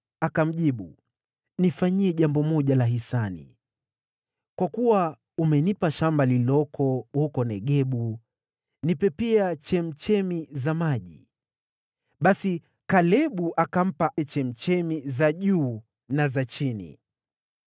Akamjibu, “Naomba unifanyie jambo moja la hisani. Kwa kuwa umenipa ardhi huko Negebu, nipe pia chemchemi za maji.” Basi Kalebu akampa chemchemi za juu na za chini.